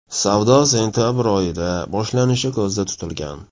Savdo sentabr oyidan boshlanishi ko‘zda tutilgan.